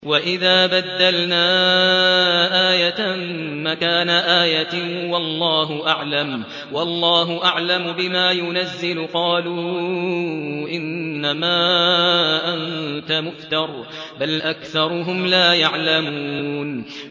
وَإِذَا بَدَّلْنَا آيَةً مَّكَانَ آيَةٍ ۙ وَاللَّهُ أَعْلَمُ بِمَا يُنَزِّلُ قَالُوا إِنَّمَا أَنتَ مُفْتَرٍ ۚ بَلْ أَكْثَرُهُمْ لَا يَعْلَمُونَ